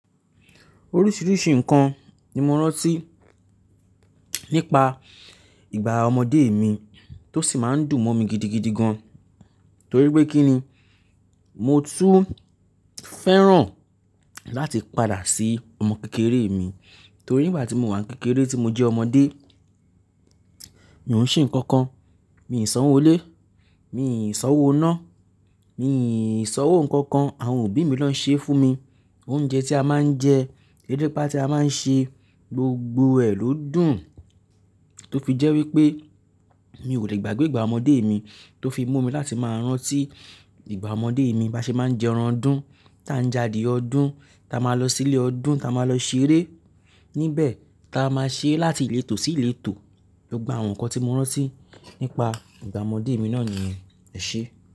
Oríṣìíríṣìí ǹkan ni mo rántí nípa ìgbà ọmọdé mi tó sì máa ń dùn mọ́ mi gidigidi gan an torí pé kí ni, mo tún fẹ́ràn láti padà sí ọmọ kékeré mi torí ígbà tí mo wà kékeré tí mọ jẹ́ ọmọdé, mi ò ń ṣe nǹkan kan, mii sàn owó ilé, mii san owó iná, mii san owó ǹkan kan, àwọn òbí mi ló ń ṣe fún mi. Oúnjẹ tí a máa ń jẹ, erépà tí a máa ń ṣe, gbogbo ẹ̀ ló dùn. Tó fi jẹ́ wípé mi ò le gbàgbé ìgbà ọmọdé mi tó fi mú mi láti máa rántí ìgbà ọmọdé mi, bá ṣe máa ń jẹ ẹran ọdún, táa ń já adiẹ ọdún, táa máa lọ sí ilé ọdún, táa máa lọ ṣeré níbẹ̀, táa máa ṣere láti ìletò sí ìletò. Gbogbo àwọn ǹkan tí mo rántí nípa ìgbà ọmọdé mi náà nìyẹn, ẹ ṣé.